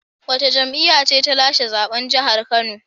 Wace jam'iyya ce ta lashe zaben jihar Kano?